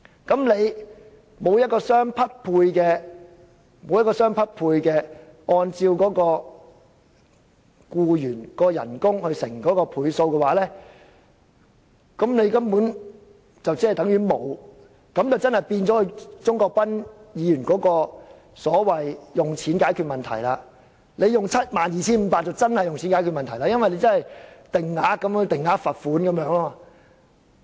如無相匹配的額外賠償，即按照僱員月薪乘以某個倍數，對僱主根本不構成壓力，那就果真變成鍾國斌議員所說的"花錢解決問題 "，72,500 元的上限似是定額罰款。